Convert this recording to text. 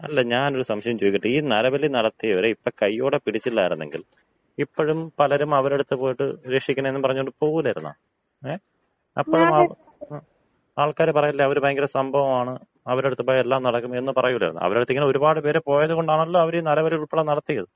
അല്ല ഞാനൊരു സംശയം ചോദിക്കട്ടെ? ഈ നരബലി നടത്തിയവരെ ഇപ്പൊ കൈയോടെ പിടിച്ചില്ലായിരുന്നെങ്കിൽ, ഇപ്പഴും പലരും അവരടുത്ത് പോയിട്ട് രക്ഷിക്കണേ എന്ന് പറഞ്ഞോണ്ട് പോവൂലായിരുന്നാ? ങേ? അപ്പഴൊന്നും ആൾക്കാര് പറയില്ലെ അവര് ഭയങ്കര സംഭവമാണ്, അവരടുത്ത് പോയാ എല്ലാം നടക്കും എന്ന് പറയൂല്ലായിരുന്നാ. അവരുടടുത്ത് ഇങ്ങനെ ഒരുപാട് പേര് പോയത് കൊണ്ടാണല്ലോ അവര് ഈ നരബലിയുൾപ്പെടെ നടത്തിയത്.